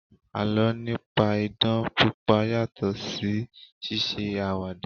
Àlọ́ nípa idán pípa yàtọ̀ sí ṣíṣe àwàdà